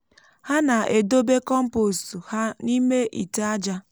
ha na-edobe kọmpost ha n’ime ite aja.